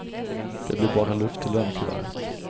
Det blir bara luft i lönekuvertet.